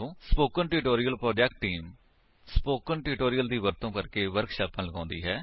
spoken tutorial project team spoken tutorial ਦੀ ਵਰਤੋ ਕਰਕੇ ਵਰਕਸ਼ਾਪਾਂ ਲਗਾਉਂਦੀ ਹੈ